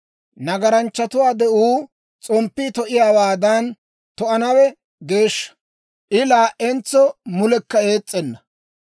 «Nagaranchchatuwaa de'uu s'omppii to'iyaawaadan to'anawe geeshsha; I laa"entso mulekka ees's'enna.